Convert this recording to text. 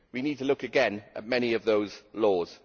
We need to look again at many of those laws.